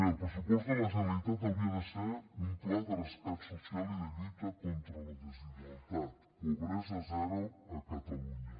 el pressupost de la generalitat hauria de ser un pla de rescat social i de lluita contra la desigualtat pobresa zero a catalunya